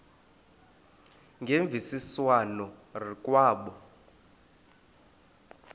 ngemvisiswano r kwabo